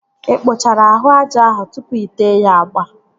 Ị kpụchara ahụ aja ahụ tụpụ ite ya agba?